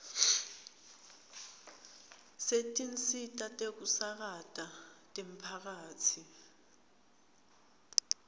setinsita tekusakata temphakatsi